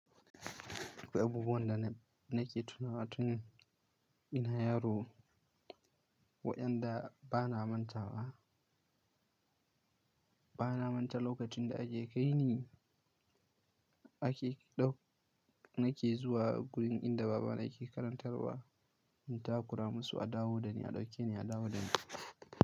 Duk abubuwan da na nake tunawa tun ina yaro waɗanda ba na manta ba, ba na manta lokacin da ake kai ni ake ɗau, nake zuwa gurin inda baba na yake karantarwa in takura masu a dawo da ni, a ɗauke ni, a dawo da ni.